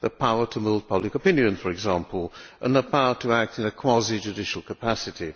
the power to move public opinion, for example, and the power to act in a quasi judicial capacity.